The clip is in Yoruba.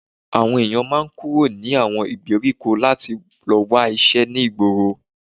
Àwọn èyàn máa ń kúrò ní àwọn ìgbèríko láti lọ wá iṣẹ́ ní ìgboro